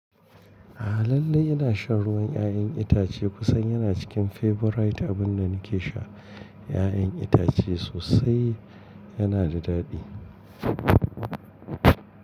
A'a lallai ina shan ruwan 'ya'yan itace kusan yana cikin favorite abin da nake sha. 'Ya'yan itace sosai yana da daɗi.